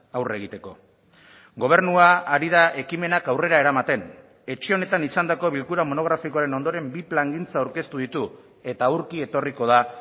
aurre egiteko gobernua ari da ekimenak aurrera eramaten etxe honetan izandako bilkura monografikoaren ondoren bi plangintza aurkeztu ditu eta aurki etorriko da